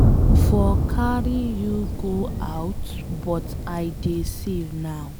I for carry you go out but I dey save now.